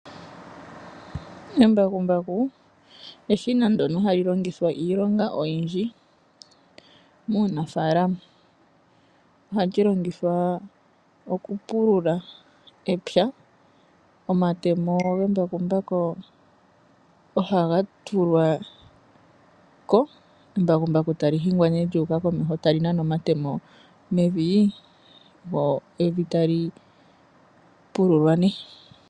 Embakumbaku eshina ndyono hali longithwa iilonga oyindji muunafaalama. Ohali longithwa okupulula epya. Omatemo gembakumbaku ohaga tulwa ko, embakumbaku tali hingwa nee lyuuka komeho tali nana omatemo mevi, lyo evi tali pululwa nee.